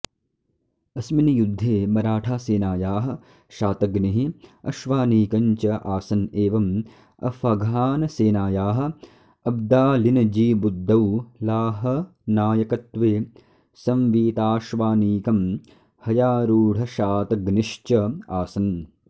अस्मिन् युद्धे मराठासेनायाः शातग्निः अश्वानीकञ्च आसन् एवम् अफ़्घानसेनायाः अब्दालिनजीबुद्दौलाहनायकत्वे संवीताश्वानीकम् हयारूढशातग्निश्च आसन्